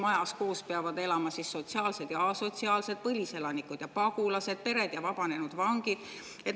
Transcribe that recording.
Ühes majas peavad koos elama sotsiaalsed ja asotsiaalsed, põliselanikud ja pagulased, pered ja vabanenud vangid.